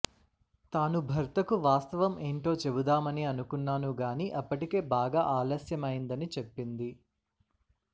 తాను భర్తకు వాస్తవం ఏంటో చెబుదామని అనుకున్నాను గానీ అప్పటికే బాగా ఆలస్యమైందని చెప్పింది